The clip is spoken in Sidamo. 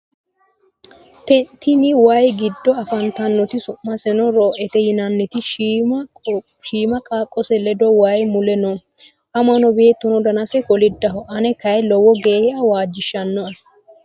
Tini waayi giddo afantannoti su'maseno roo'ete yinanniti shima qaaqqose ledo waayi mule no. Amano beettono danansa koliddaho. Ane kayii lowo geya waajjishano'e